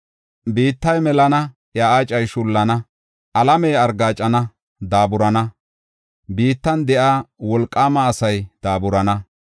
Biittay melana, iya aacay shullana; alamey argaacana, daaburana; biittan de7iya wolqaama asay daaburana.